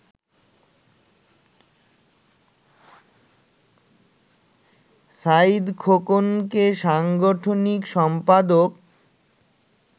সাঈদ খোকনকে সাংগঠনিক সম্পাদক